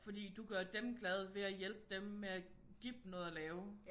Fordi du gør dem glade ved at hjælpe dem med at give dem noget at lave